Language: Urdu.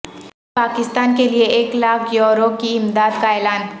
پاکستان کیلئے ایک لاکھ یورو کی امداد کا اعلان